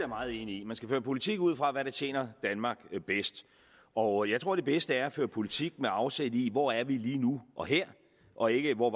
meget enig i man skal føre politik ud fra hvad der tjener danmark bedst og jeg tror at det bedste er at føre politik med afsæt i hvor vi er lige nu og her og ikke hvor